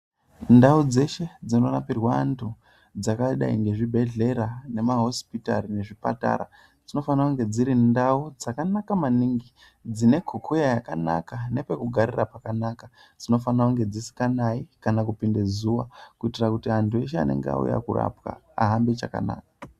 Ndau dzeshe dzinorapirwe vantu dzakadai ngezvibhehlera nema hosipitari nezvipatara dzinofane kunge dzakanaka maningi dzine kukuya yakanaka nepekugarira pakanaka dzinofanira dzisinganayi kana kupinde zuwa kutira antu eshe anenge auya korapwa ahambe chakanaka.